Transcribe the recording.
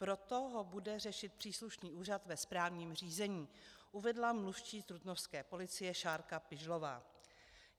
Proto ho bude řešit příslušný úřad ve správním řízení, uvedla mluvčí trutnovské policie Šárka Pižlová.